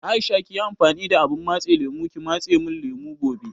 Aisha kiyi amfani da abun matse lemo ki matse mun lemo gobe